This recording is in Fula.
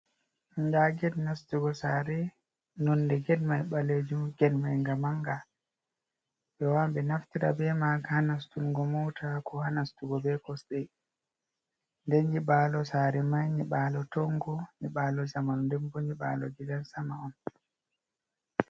Nɗa get nastugo sare. Nonɗe get mai balejum get mai ga manga. Be waawan naftirgo be maga ha nastungo moota, ko ha nastungo be kosdei. Ɗen nyibalo sare mai nyibalo tongo nyibalo zamanu denbo nyibalo gidan sama on